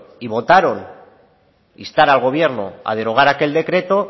y votaron instar al gobierno a derogar aquel decreto